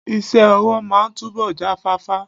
Iṣẹ́ ọwọ́ máa túbọ̀ jáfáfá.